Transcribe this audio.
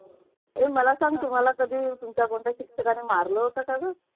हे मला सांगा. तुम्हाला कधी तुमच्या शिक्षकाने मारलं होतं का ग?